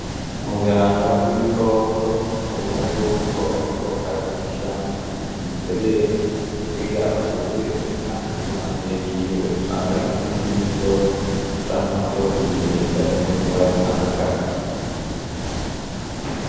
Umuganga w’ibikoko ubona yuko ariko arashiramwo umuti mw’iserenge, kugira avure inka ziri impande yiwe usanga ari nk’umuti w’inzoka canke umuti wo kuzirinda izindi ndwara zitandukanye.